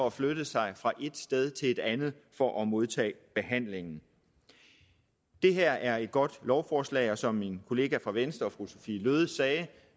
at flytte sig fra et sted til et andet for at modtage behandlingen det her er et godt lovforslag som min kollega fra venstre fru sophie løhde sagde